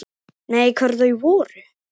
Nei, hver voru þau?